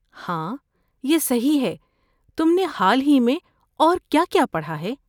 ہاں، یہ صحیح ہے، تم نے حال ہی میں اور کیا کیا پڑھا ہے؟